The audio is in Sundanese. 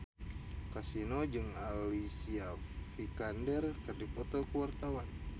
Kasino jeung Alicia Vikander keur dipoto ku wartawan